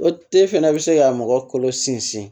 O te fana bɛ se ka mɔgɔ kolo sinsin